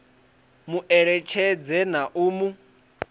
mu eletshedze na u mu